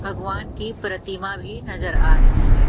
भगवान की प्रतिमा भी नजर आ रही है।